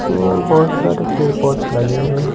में बहुत सारे पेर पौधे लगे हुए हैं।